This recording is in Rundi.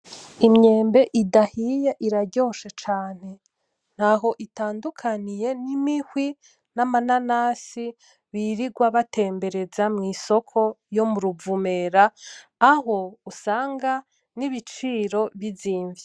Imyembe idahiye iraryoshe cane. Ntaho itandukaniye n'imihwi, n'amananasi birirwa batembereza mwisoko yo Muruvumera aho usanga nibiciro bizimvye.